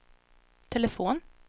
telefon